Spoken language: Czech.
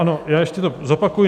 Ano, já ještě to zopakuji.